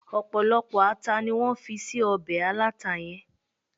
ọpọlọpọ ata ni wan fi sí obe alata yen